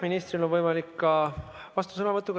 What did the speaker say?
Ministril on võimalik ka vastusõnavõtt.